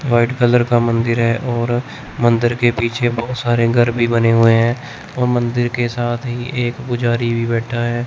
White colour का मंदिर है और मंदिर के पिछे बहुत सारे घर भी बने हुए हैं और मंदिर के साथ ही एक पुजारी भी बैठा है।